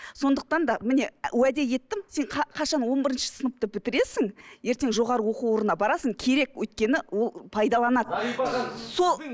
сондықтан да міне уәде еттім сен қашан он бірінші сыныпты бітіресің ертең жоғарғы оқу орнына барасың керек өйткені ол пайдаланады